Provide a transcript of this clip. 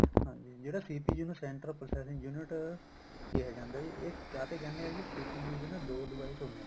ਹਾਂਜੀ ਜਿਹੜਾ CPU central processing unit ਕਿਹਾ ਜਾਂਦਾ ਜੀ ਇਹ ਕਾਹਤੇ ਕਹਿੰਦੇ ਆਂ ਜੀ CPU ਦੇ ਨਾ ਦੋ device ਹੁੰਦੇ ਏ